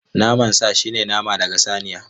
Naman sa shine nama daga saniya.